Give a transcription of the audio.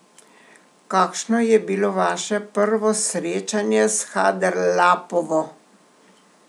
Kakšno je bilo vaše prvo srečanje s Haderlapovo?